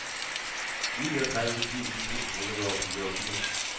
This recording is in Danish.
niogtredive tusind et hundrede og fireogfirs